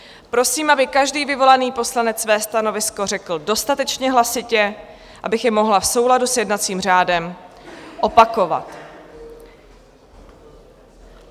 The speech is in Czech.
Prosím, aby každý vyvolaný poslanec své stanovisko řekl dostatečně hlasitě, abych je mohla v souladu s jednacím řádem opakovat.